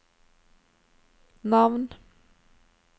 navn